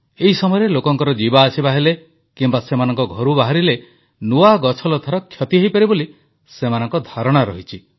ଏହି ସମୟରେ ଲୋକଙ୍କ ଯିବା ଆସିବା ହେଲେ କିମ୍ବା ସେମାନେ ଘରୁ ବାହାରିଲେ ନୂଆ ଗଛଲତାର କ୍ଷତି ହୋଇପାରେ ବୋଲି ସେମାନଙ୍କ ଧାରଣା ରହିଛି